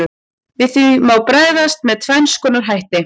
Við því má bregðast með tvenns konar hætti.